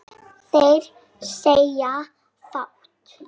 Þeir segja fátt